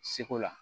Seko la